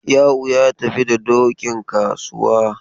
Ya'u ya tafi da dokin kasuwa.